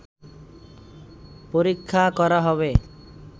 পরীক্ষা করা হবে